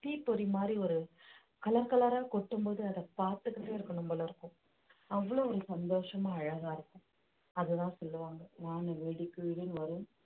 தீப்பொறி மாதிரி ஒரு colour colour ஆ கொட்டும் போது அதை பார்த்துக்கிட்டே இருக்கணும் போல இருக்கும் அவ்வளவு ஒரு சந்தோஷமா அழகா இருக்கும் அதுதான் சொல்லுவாங்க வான வெடிக்குதுன்னு வரும்